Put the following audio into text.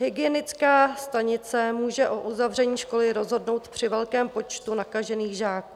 Hygienická stanice může o uzavření školy rozhodnout při velkém počtu nakažených žáků.